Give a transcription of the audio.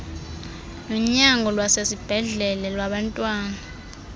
nonyango lwasesibhedlele lwabantwana